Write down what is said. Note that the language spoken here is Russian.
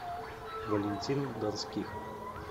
валентин донских